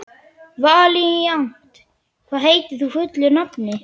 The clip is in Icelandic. Valíant, hvað heitir þú fullu nafni?